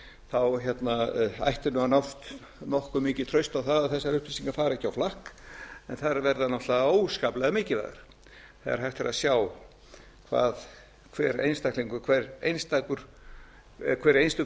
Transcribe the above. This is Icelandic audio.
þessara lykla ætti að nást nokkuð mikið traust á það að þessar upplýsingar fari ekki á flakk en þær verða náttúrlega óskaplega mikilvægar þegar hægt er að sjá hvað hver einstök fjölskylda eða hver einstaklingur